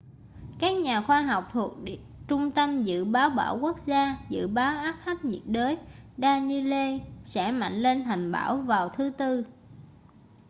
các nhà khoa học thuộc trung tâm dự báo bão quốc gia dự báo áp thấp nhiệt đới danielle sẽ mạnh lên thành bão vào thứ tư